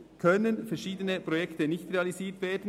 Verschiedene Projekte könnten nicht realisiert werden.